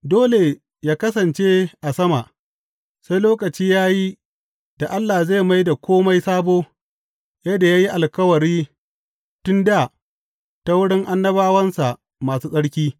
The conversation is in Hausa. Dole yă kasance a sama, sai lokaci ya yi da Allah zai mai da kome sabo, yadda ya yi alkawari tun dā ta wurin annabawansa masu tsarki.